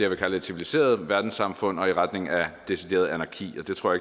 vil kalde et civiliseret verdenssamfund og i retning af decideret anarki og det tror